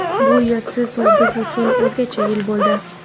Bu yil siz-u biz uchun o‘zgacha yil bo‘ldi.